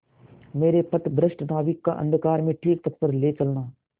मेरे पथभ्रष्ट नाविक को अंधकार में ठीक पथ पर ले चलना